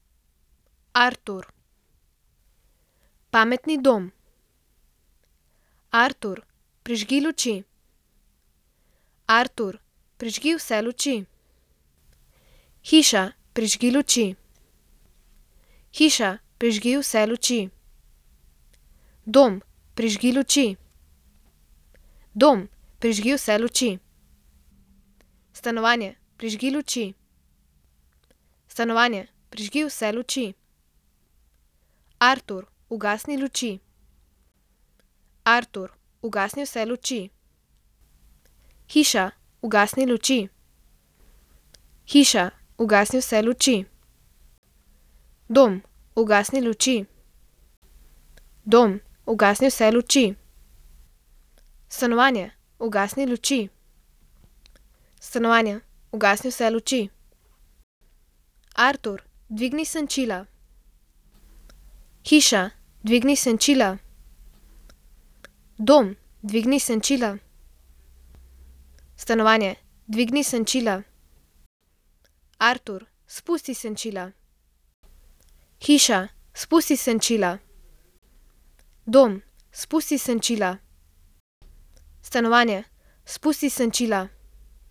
Artur. Pametni dom. Artur, prižgi luči. Artur, prižgi vse luči. Hiša, prižgi luči. Hiša, prižgi vse luči. Dom, prižgi luči. Dom, prižgi vse luči. Stanovanje, prižgi luči. Stanovanje, prižgi vse luči. Artur, ugasni luči. Artur, ugasni vse luči. Hiša, ugasni luči. Hiša, ugasni vse luči. Dom, ugasni luči. Dom, ugasni vse luči. Stanovanje, ugasni luči. Stanovanje, ugasni vse luči. Artur, dvigni senčila. Hiša, dvigni senčila. Dom, dvigni senčila. Stanovanje, dvigni senčila. Artur, spusti senčila. Hiša, spusti senčila. Dom, spusti senčila. Stanovanje, spusti senčila.